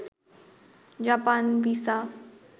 Japan visa